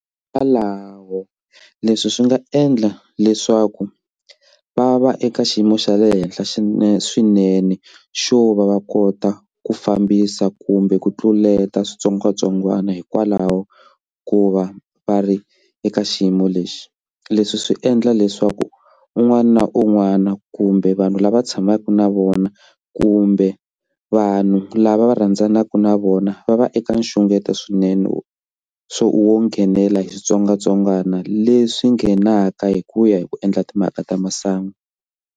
Hikwalaho leswi swi nga endla leswaku va va eka xiyimo xa le henhla swinene swinene xo va va kota ku fambisa kumbe ku tluleta switsongwatsongwana hikwalaho ko va va ri eka xiyimo lexi leswi swi endla leswaku un'wana na un'wana kumbe vanhu lava tshamaka na vona kumbe vanhu lava va rhandzanaka na vona va va eka nxungeto swinene wo swo wo nghenela hi switsongwatsongwana leswi nghenaka hi ku ya hi ku endla timhaka ta masangu.